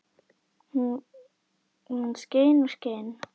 Og hún skein og skein.